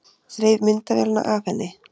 Þreif myndavélina af henni.